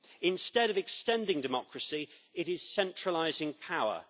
Instead of extending democracy, it is centralising power.